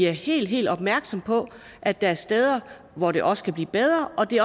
helt helt opmærksomme på at der er steder hvor det også kan blive bedre det